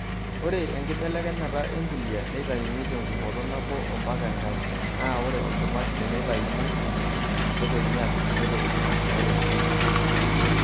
Ore enkibelekenyata empulia, neitayuni tengumoto nabo ompaka enkae. Naa ore olchumati teneitayuni embulia neitokini apik kulie tokitin naitobirieki ng'ejuko.